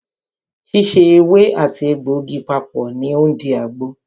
Síse ewé àti àti egbògi papọ̀ ní o ń di àgbo.